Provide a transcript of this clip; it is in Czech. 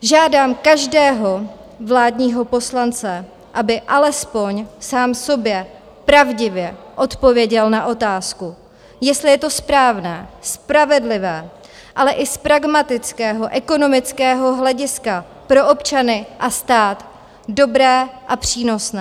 Žádám každého vládního poslance, aby alespoň sám sobě pravdivě odpověděl na otázku, jestli je to správná, spravedlivá, ale i z pragmatického, ekonomického hlediska pro občany a stát dobré a přínosné.